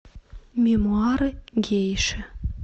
мемуары гейши